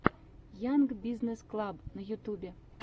янг бизнесс клаб на ютюбе